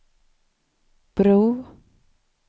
bro